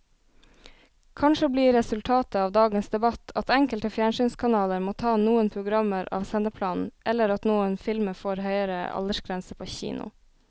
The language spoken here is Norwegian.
Kanskje blir resultatet av dagens debatt at enkelte fjernsynskanaler må ta noen programmer av sendeplanen eller at noen filmer får høyere aldersgrense på kino.